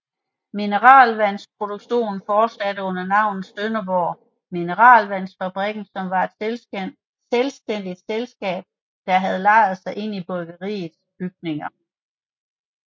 Mineralvandsproduktionen fortsatte under navnet Sønderborg Mineralvandsfabrik som var et selvstændigt selskab der havde lejet sig ind i bryggeriets bygninger